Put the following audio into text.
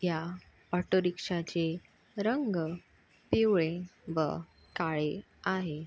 या ऑटो रिक्षाचे रंग पिवळे व काळे आहे.